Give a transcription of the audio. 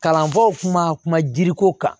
Kalanfaw kuma kuma jiriko kan